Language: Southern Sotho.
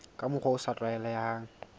ka mokgwa o sa tlwaelehang